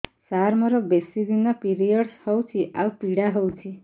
ସାର ମୋର ବେଶୀ ଦିନ ପିରୀଅଡ଼ସ ହଉଚି ଆଉ ପୀଡା ହଉଚି